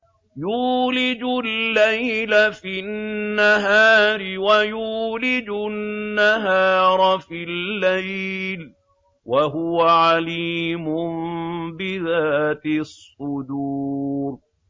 يُولِجُ اللَّيْلَ فِي النَّهَارِ وَيُولِجُ النَّهَارَ فِي اللَّيْلِ ۚ وَهُوَ عَلِيمٌ بِذَاتِ الصُّدُورِ